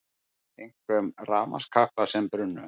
Einkum rafmagnskaplar sem brunnu